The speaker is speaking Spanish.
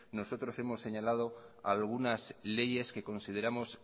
nosotros hemos señalado algunas leyes que consideramos